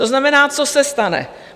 To znamená, co se stane?